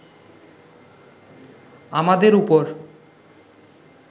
আমাদের ওপর